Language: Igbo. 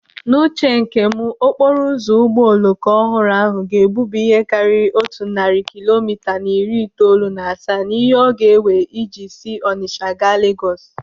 N'uche nke m, okporo ụzọ ụgbọ oloko ọhụrụ ahụ ga-egbubi ihe karịrị otu narị kilomita na iri itoolu na asaa n'ihe ọ ga-ewe iji si Ọnicha gaa Legọs